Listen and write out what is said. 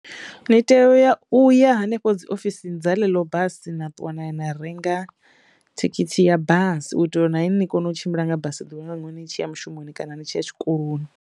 Ni teyo u yo uya hanefho dzi ofisini dza ḽe ḽo basi na ṱuwa na ya na renga thikhithi ya basi u itela uri na ini ni kono u tshimbila nga basi ḽeneḽo ni tshiya mushumoni kana ni tshiya tshikoloni.